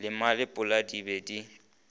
le malepola di be di